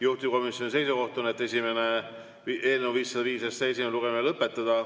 Juhtivkomisjoni seisukoht on, et eelnõu 505 esimene lugemine tuleb lõpetada.